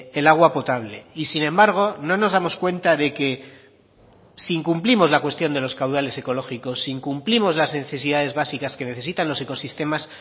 el agua potable y sin embargo no nos damos cuenta de que si incumplimos la cuestión de los caudales ecológicos si incumplimos las necesidades básicas que necesitan los ecosistemas